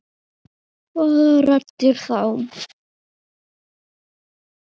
Hvaða raddir þá?